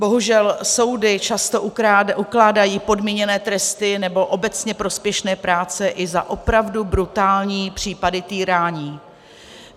Bohužel soudy často ukládají podmíněné tresty, nebo obecně prospěšné práce i za opravdu brutální případy týrání.